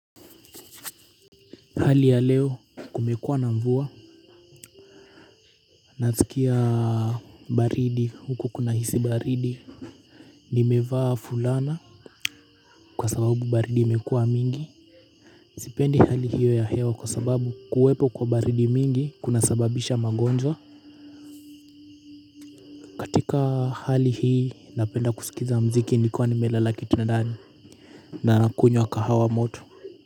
Hali ya leo kumekuwa na mvua nasikia baridi huko kunahisi baridi nimevaa fulana kwa sababu baridi imekuwa mingi sipendi hali hiyo ya hewa kwa sababu kuwepo kwa baridi mingi kunasababisha magonjwa katika hali hii napenda kusikiza muziki nikiwa kitandani na nakunywa kahawa moto.